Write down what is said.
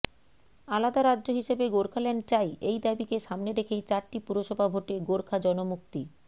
আলাদা রাজ্য হিসেবে গোর্খাল্যান্ড চাই এই দাবিকে সামনে রেখেই চারটি পুরসভা ভোটে গোর্খা জনমুক্তি